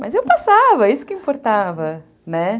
Mas eu passava, isso que importava, né?